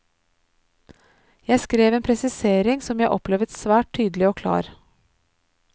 Jeg skrev en presisering som jeg opplevet svært tydelig og klar.